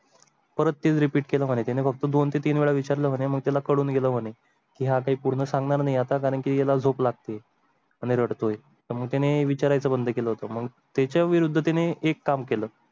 परत तेच repeat केलं मन्हे त्याने फक्त दोन ते तीन वेळा विचारलं मन्हे मग त्याला कडून गेलं मन्हे या काही पूर्ण सांगणार नाही आता कारण की झोप लागते आणि रडतोय. मग त्याने विचारायचं बंद केलं होतं मग त्याच्या विरुद्ध तिने एक काम केलं.